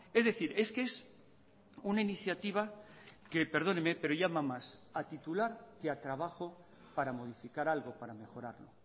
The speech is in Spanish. es decir es que es una iniciativa que perdóneme pero llama más a titular que a trabajo para modificar algo para mejorarlo